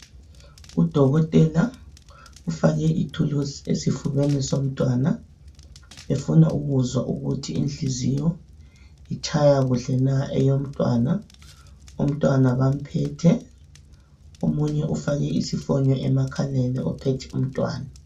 Udokotela ufake ithuluzi esifubeni somntwana, ufuna ukuzwa ukuthi inhliziyo itshaya kuhle na eyomntwana. Umntwana bamphethe, omunye ufake isifonyo emakhaleni, uphethe umntwana.